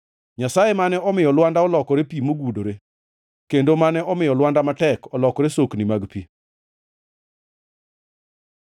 Nyasaye mane omiyo lwanda olokore pi mogudore, kendo mane omiyo lwanda matek olokore sokni mag pi.